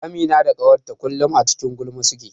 Amina da ƙawarta kullum a cikin gulma suke.